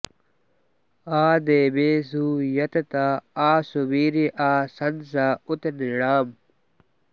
आ देवेषु यतत आ सुवीर्य आ शंस उत नृणाम्